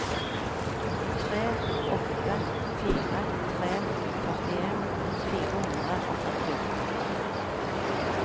tre åtte fire tre førtien fire hundre og førtiåtte